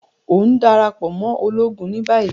O n darapọ mọ ologun ni bayi!